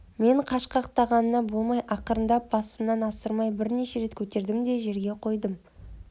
мен қашқақтағанына болмай ақырындап басымнан асырмай бірнеше рет көтердім де жерге қойдым